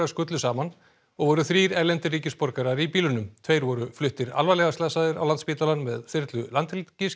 skullu saman og voru þrír erlendir ríkisborgarar í bílunum tveir voru fluttir alvarlega slasaðir á Landspítalann með þyrlu Landhelgisgæslunnar